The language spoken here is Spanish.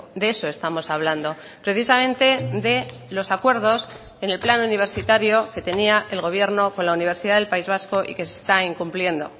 de eso estamos hablando precisamente de los acuerdos en el plan universitario que tenía el gobierno con la universidad del país vasco y que se está incumpliendo